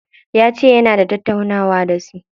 Yace yana da tattaunawa da wasu.